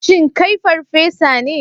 Shin kai farfesa ne?